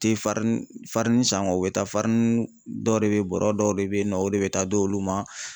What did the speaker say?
Tɛ san bɛ taa dɔ de be yen bɔrɔ dɔw de be yen nɔ ,o de bɛ taa di olu ma